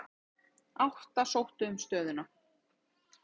Átta sóttu um stöðuna.